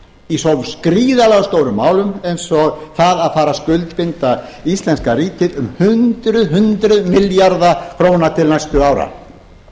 í svo gríðarlega stórum málum eins og því að fara að skuldbinda íslenska ríkið um hundruð milljarða króna til næstu ára